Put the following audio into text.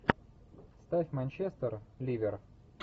ставь манчестер ливер